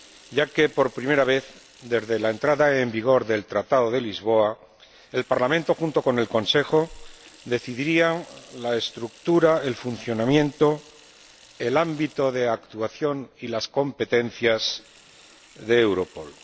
ya que, por primera vez desde la entrada en vigor del Tratado de Lisboa, el Parlamento, junto con el Consejo, decidiría la estructura, el funcionamiento, el ámbito de actuación y las competencias de Europol.